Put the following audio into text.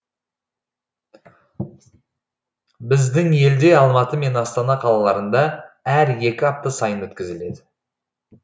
біздің елде алматы және астана қалаларында әр екі апта сайын өткізіледі